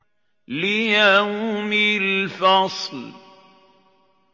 لِيَوْمِ الْفَصْلِ